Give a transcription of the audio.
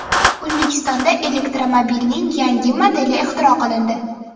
O‘zbekistonda elektromobilning yangi modeli ixtiro qilindi.